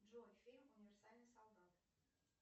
джой фильм универсальный солдат